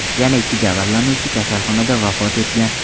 Yana ikki jabrlanuvchi kasalxonada vafot etgan.